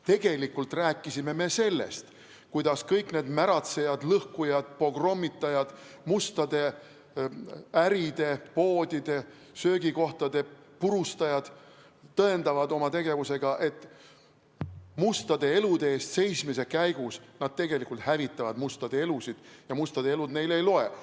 Tegelikult rääkisime me sellest, kuidas kõik need märatsejad, lõhkujad, pogrommitajad, mustade äride, poodide, söögikohtade purustajad tõendavad oma tegevusega, et mustade elude eest seismise käigus nad tegelikult hävitavad mustade elusid ja mustade elud neile ei loe.